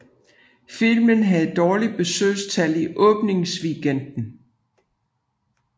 Filmen havde dårlige besøgstal i åbningsweekenden